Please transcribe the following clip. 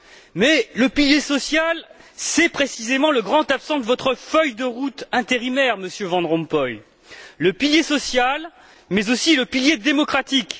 Mais le pilier social, c'est précisément le grand absent de votre feuille de route intérimaire, Monsieur Van Rompuy, le pilier social, mais aussi le pilier démocratique.